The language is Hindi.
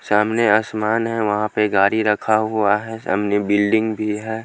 सामने आसमान है वहाँ पे गाड़ी रखा हुआ है सामने बिल्डिंग भी है।